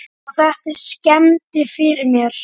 Og þetta skemmdi fyrir mér.